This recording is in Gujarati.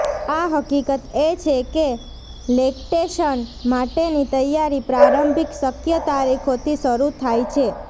આ હકીકત એ છે કે લેક્ટેશન માટેની તૈયારી પ્રારંભિક શક્ય તારીખોથી શરૂ થાય છે